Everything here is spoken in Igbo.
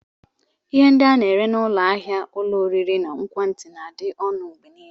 Ihe ndị a na-ere n'ụlọ ahịa ulo oriri na nkwati na-adị ọnụ mgbe niile.